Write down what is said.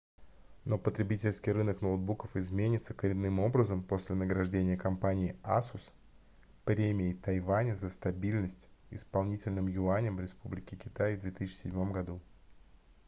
но потребительский рынок ноутбуков изменится коренным образом после награждения компании asus премией тайваня за стабильность исполнительным юанем республики китай в 2007 году